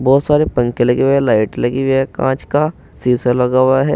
बहुत सारे पंखे लगे हुए हैंज़ लाइट लगी हुए हैं कांच का शीशा लगा हुआ है।